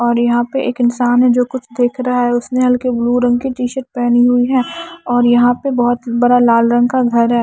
और यहां पे एक इंसान है जो कुछ देख रहा है उसने हल्के ब्लू रंग की टी शर्ट पहनी हुई है और यहां पे बहुत बरा लाल रंग का घर है।